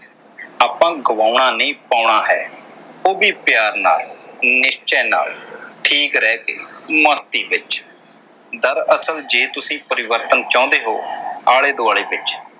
ਆਪਾ ਗਵਾਉਣਾ ਨਹੀਂ ਪਾਉਣਾ ਹੈ ਉਹ ਵੀ ਪਿਆਰ ਨਾਲ ਨਿਸ਼ਚੇ ਨਾਲ ਠੀਕ ਰਹਿ ਕੇ ਮਸਤੀ ਵਿਚ। ਗੱਲ ਅਸਲ ਜੇ ਤੁਸੀ ਪਰਿਵਰਤਨ ਚਾਹੁੰਦੇ ਹੋ ਆਲੇ ਦੁਆਲੇ ਵਿਚ